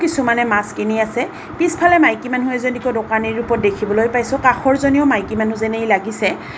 কিছুমানে মাছ কিনি আছে পিছফালে মাইকী মানুহ এজনীকো দোকানী ৰূপত দেখিবলৈ পাইছোঁ কাষৰ জনীও মাইকী মনুহজেনেই লাগিছে।